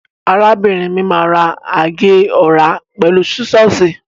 Arábìnrin mi má agé ọ̀rá pẹ̀lú sísọ́ọ̀sì.